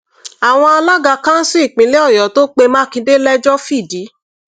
àwọn alága kánsù ìpínlẹ ọyọ tó pe mákindé lẹjọ fìdí